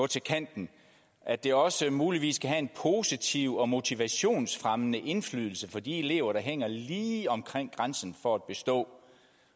til kanten og at det også muligvis kan have en positiv og motivationsfremmende indflydelse på de elever der hænger lige omkring grænsen for at bestå